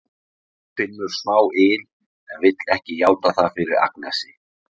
Hún finnur smá yl en vill ekki játa það fyrir Agnesi.